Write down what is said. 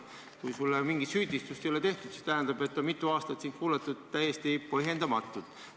Kui sulle mingit süüdistust ei ole esitatud, siis tähendab, et mitu aastat sind jälgiti täiesti põhjendamatult.